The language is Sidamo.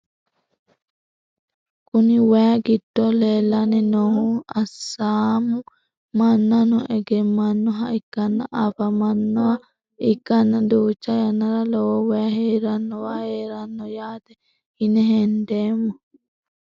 Kuni wayi giddo leelani noohu asaamu manano egemanoha ikkana afamanoha ikana duucha yanara lowo wayi heeranowa heerano yaate yine hendeemo.